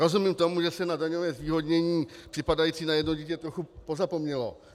Rozumím tomu, že se na daňové zvýhodnění připadající na jedno dítě trochu pozapomnělo.